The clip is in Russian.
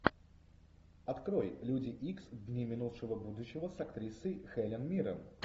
открой люди икс дни минувшего будущего с актрисой хелен миррен